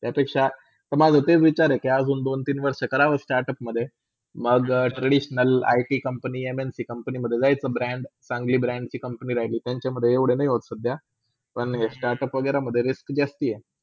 त्यापेक्षा माझा तेच विचार आहे कि अजून दोन - तीन वर्ष करावा startup मधे मंग Traditional IT कंपनीमधे MLTcompany मधे जायचं म Brand चांग्ली brand ची company रहिलीतर त्याचेमधे एवडे नय होत सदध्या पण startup वागेरमधे risk जास्त हाय.